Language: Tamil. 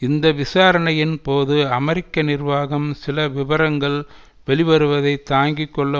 இந்த விசாரணையின் போது அமெரிக்க நிர்வாகம் சில விபரங்கள் வெளிவருவதை தாங்கி கொள்ள